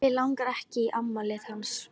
Mig langar ekkert í afmælið hans.